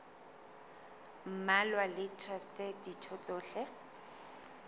mmalwa le traste ditho tsohle